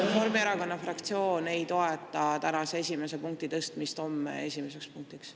Reformierakonna fraktsioon ei toeta tänase esimese punkti tõstmist homseks esimeseks punktiks.